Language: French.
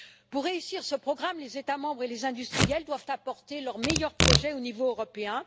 Pour réussir ce programme, les États membres et les industriels doivent apporter leurs meilleurs projets au niveau européen.